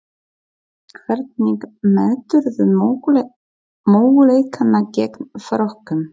Hvernig meturðu möguleikana gegn Frökkum?